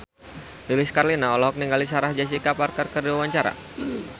Lilis Karlina olohok ningali Sarah Jessica Parker keur diwawancara